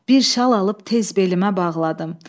Bir şal alıb tez belimə bağladım.